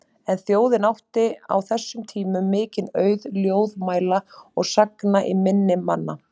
En þjóðin átti á þessum tímum mikinn auð ljóðmæla og sagna í minni manna.